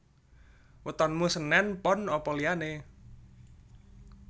Wetonmu senen pon apa liyane